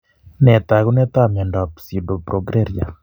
Nee taakunetaab myondap Pseudoprogeria?